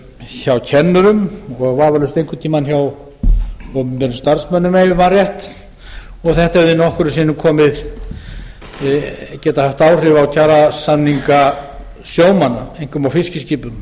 hjá kennurum og vafalaust einhvern tíma hjá opinberum starfsmönnum ef ég man rétt og þetta hefði nokkrum sinnum getað haft áhrif á kjarasamninga sjómanna einkum á fiskiskipum